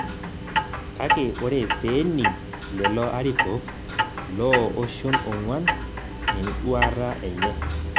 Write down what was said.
Kake ore peening' lelo arikok loo oshon ong'uan enduata enye